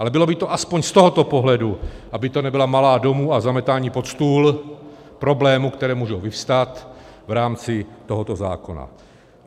Ale bylo by to aspoň z tohoto pohledu, aby to nebyla malá domů a zametání pod stůl problémů, které můžou vyvstat v rámci tohoto zákona.